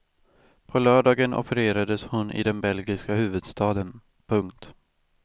På lördagen opererades hon i den belgiska huvudstaden. punkt